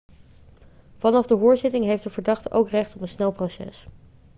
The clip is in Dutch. vanaf de hoorzitting heeft de verdachte ook recht op een snel proces